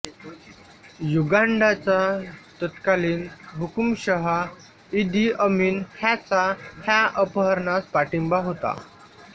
युगांडाचा तत्कालीन हुकुमशहा Idi Amin ह्याचा ह्या अपहरणास पाठिंबा होता